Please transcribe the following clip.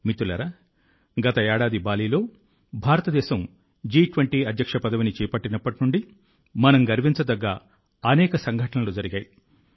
మిత్రులారా గత ఏడాది బాలిలో భారతదేశం G20 అధ్యక్ష పదవిని చేపట్టినప్పటి నుండి మనలో గర్వాన్ని నింపే అనేక సంఘటనలు జరిగాయి